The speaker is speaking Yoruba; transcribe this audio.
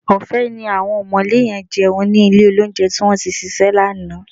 Ọ̀fẹ́ ni àwọn ọ̀mọ̀lé yẹn jẹun ní ilé-olóunjẹ tí wọ́n tí ṣíṣe lánàá